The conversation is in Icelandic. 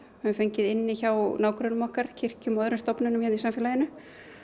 höfum fengið inni hjá nágrönnum okkar kirkjum og öðrum stofnunum í samfélaginu